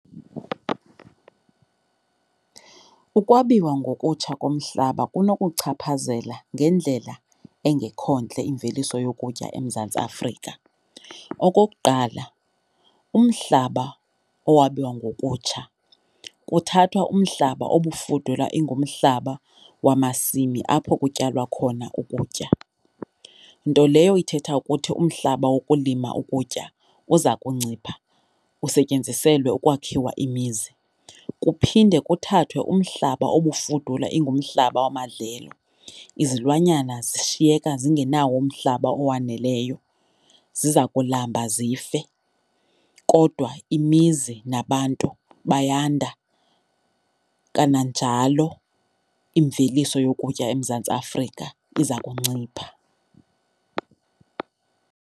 Ukwabiwa ngokutsha komhlaba kunokuwuchaphazela ngendlela engekho ntle imveliso yokutya eMzantsi Afrika. Okokuqala, umhlaba owabiwa ngokutsha kuthathwa umhlaba obufudula ingumhlaba wamasimi apho kutyalwa khona ukutya, nto leyo ithetha ukuthi umhlaba wokulima ukutya uza kuncipha usetyenziselwe ukwakhiwa imizi. Kuphinde kuthathwe umhlaba obufudula ingumhlaba wamadlelo, izilwanyana zishiyeka zingenawo umhlaba owaneleyo. Ziza kulamba zife, kodwa imizi nabantu bayanda kananjalo imveliso yokutya eMzantsi Afrika iza kuncipha.